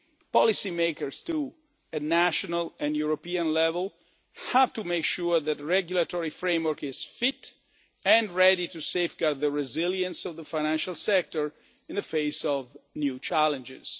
flux. Policymakers too, at national and European level, have to make sure that the regulatory framework is fit and ready to safeguard the resilience of the financial sector in the face of new challenges.